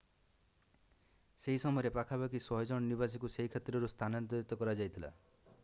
ସେହି ସମୟରେ ପାଖାପାଖି 100ଜଣ ନିବାସୀଙ୍କୁ ସେହି କ୍ଷେତ୍ରରୁ ସ୍ଥାନାନ୍ତରିତ କରାଯାଇଥିଲା